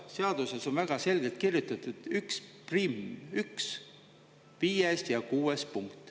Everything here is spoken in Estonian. Seaduses on väga selgelt kirjutatud 11, 1 5. ja 6. punkt.